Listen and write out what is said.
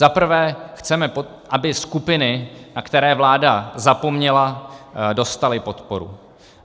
Zaprvé chceme, aby skupiny, na které vláda zapomněla, dostaly podporu.